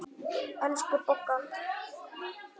Elsku Bogga.